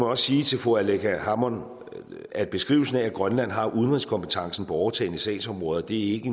også sige til fru aleqa hammond at beskrivelsen af at grønland har udenrigskompetencen på overtagne sagsområder ikke